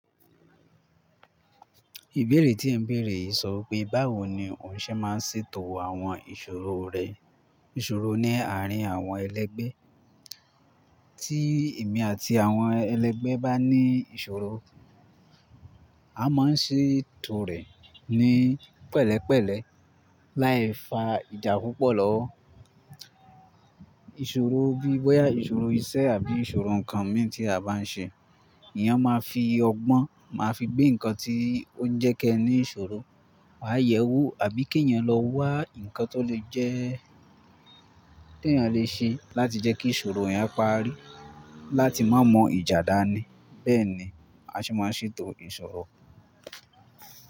Ìbéèrè tí ẹ ń béèrè sọ pé báwo ni òun ṣe máa ń ṣètò àwọn ìṣòro rẹ̀. Ìṣòro ní àárín àwọn ẹlẹ́gbẹ́. Tí èmi àti àwọn ẹlẹ́gbẹ́ bá ní ìṣòro, a máa ṣètò rẹ̀ ní pẹ̀lẹ́pẹ̀lẹ́ láì fa ìjà púpọ̀ lọwọ. Ìṣòro bíi bọ́yá ìṣòro iṣẹ́ àbí ìṣòro ǹkan mìíràn tí a bá ń ṣe, èèyàn máa fi ọgbọ́n máa fi gbé nǹkan tí ó ń jẹ́ kẹ́ ní ìṣòro, wàá yẹ̀ ẹ́ wò àbí kí èèyàn lọ wá nǹkan tó lè jẹ́ tí èèyàn lè ṣe láti jẹ́ kí ìṣòro yẹn parí láti má mu ìjà dání Bẹ́ẹ̀ ni a ṣe máa ṣètò ìṣòro.